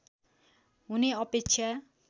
हुने अपेक्षा